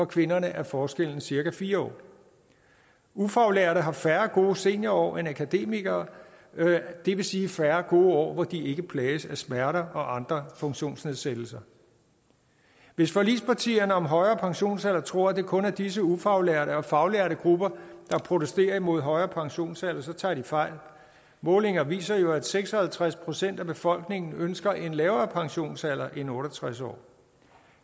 kvinderne er forskellen cirka fire år ufaglærte har færre gode seniorår end akademikere det vil sige færre gode år hvor de ikke plages af smerter og andre funktionsnedsættelser hvis forligspartierne om en højere pensionsalder tror at det kun er disse ufaglærte og faglærte grupper der protesterer imod en højere pensionsalder så tager de fejl målinger viser jo at seks og halvtreds procent af befolkningen ønsker en lavere pensionsalder end otte og tres år